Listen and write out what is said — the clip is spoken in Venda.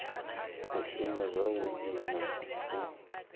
u shuma zwavhui na u